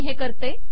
मी हे करते